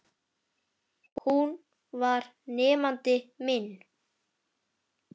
Hún var nemandi minn.